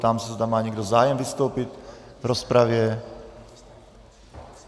Ptám se, zda má někdo zájem vystoupit v rozpravě.